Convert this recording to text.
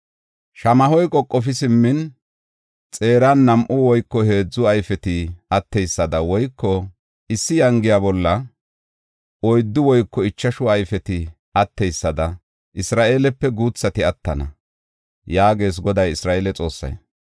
Shamaho qoqofi simmin, xeeran nam7u woyko heedzu ayfeti atteysada woyko issi yangiya bolla oyddu woyko ichashu ayfeti atteysada Isra7eelepe guuthati attana” yaagees Goday Isra7eele Xoossay.